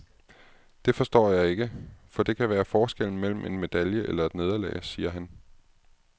Det forstår jeg ikke, for det kan være forskellen mellem en medalje eller et nederlag, siger han.